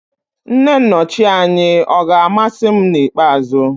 Nne nnochi anyị ọ̀ ga-amasị m n'ikpeazụ?